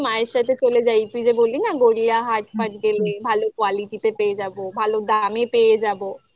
মায়ের সাথে চলে যাই তুই যে বললি না গড়িয়াহাট ফাট গেলে ভালো quality তে পেয়ে যাবো ভালো দামে পেয়ে যাবো